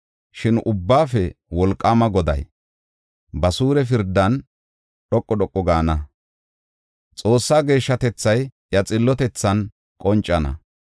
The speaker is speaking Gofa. Shin Ubbaafe Wolqaama Goday, ba suure pirdan dhoqu dhoqu gaana; Xoossaa geeshshatethay iya xillotethan qoncana.